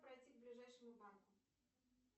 пройти к ближайшему банку